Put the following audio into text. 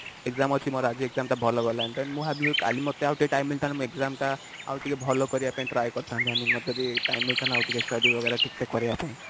exam ଅଛି ମୋର ଆଜି exam ଟା ଭଲ ଗଲାନି ତ ମୁଁ ଭାବିବି ଆଜି ମତେ ଆଉ ଟିକେ time ମିଳିଥାନ୍ତା ମୁଁ exam ଟା ଆଉ ଟିକେ ଭଲ କରିବା ପାଇଁ try କରିଥାନ୍ତି i mean ମତେ ଯଦି time ମିଳିଥାନ୍ତା ଆଉ ଟିକେ study ୱାଗେର ଠିକ ସେ କରିବା ପାଇଁ